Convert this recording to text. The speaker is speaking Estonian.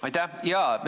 Aitäh!